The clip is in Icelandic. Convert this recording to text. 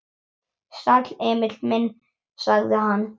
Sæll, Emil minn, sagði hann.